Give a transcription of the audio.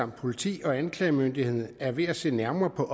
politiets og anklagemyndighedens side er ved at se nærmere på